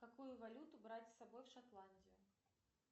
какую валюту брать с собой в шотландию